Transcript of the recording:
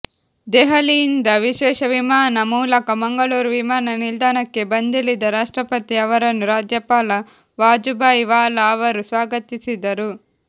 ದೆಹಲಿಯಿಂದ ವಿಶೇಷ ವಿಮಾನ ಮೂಲಕ ಮಂಗಳೂರು ವಿಮಾನ ನಿಲ್ದಾಣಕ್ಕೆ ಬಂದಿಳಿದ ರಾಷ್ಟ್ರಪತಿ ಅವರನ್ನು ರಾಜ್ಯಪಾಲ ವಾಜುಬಾಯಿ ವಾಲಾ ಅವರು ಸ್ವಾಗತಿಸಿದರು